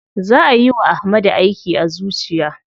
Za ayi wa Ahmadu aiki a zuciya.